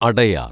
Adyar‍